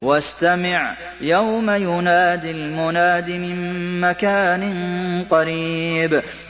وَاسْتَمِعْ يَوْمَ يُنَادِ الْمُنَادِ مِن مَّكَانٍ قَرِيبٍ